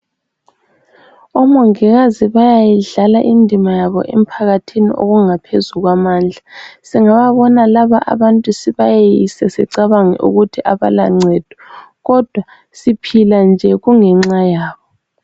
Omongikazi bayayidlala indima yabo emphakathini, okungaphezu kwamandla. Singababona laba abantu, sibayeyise. Sicabange ukuthi kabalancedo, kodwa, siphila nje, kungenxa yabo.